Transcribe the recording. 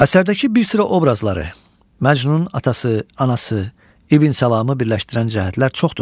Əsərdəki bir sıra obrazları – Məcnun, atası, anası, İbn Səlamı birləşdirən cəhətlər çoxdur.